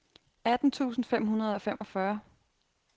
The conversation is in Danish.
atten tusind fem hundrede og femogfyrre